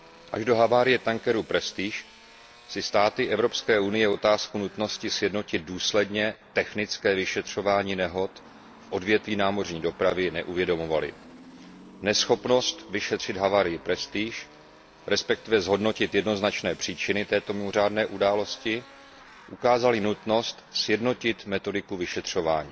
Až do havárie tankeru Prestige si státy Evropské unie otázku nutnosti sjednotit důsledně technické vyšetřování nehod v odvětví námořní dopravy neuvědomovaly. Neschopnost vyšetřit havárii Prestige, respektive zhodnotit jednoznačné příčiny této mimořádné události, ukázaly nutnost sjednotit metodiku vyšetřování.